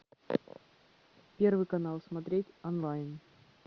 первый канал смотреть онлайн